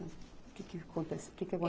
O que que acontece, que que